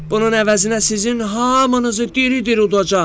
“Bunun əvəzinə sizin hamınızı diri-diri udacam.